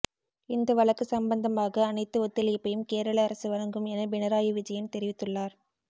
இந்த வழக்கு சம்பந்தமாக அனைத்து ஒத்துழைப்பையும் கேரள அரசு வழங்கும் என பினராயி விஜயன் தெரிவித்துள்ளார்